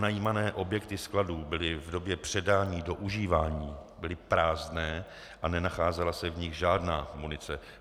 Pronajímané objekty skladů byly v době předání do užívání prázdné a nenacházela se v nich žádná munice.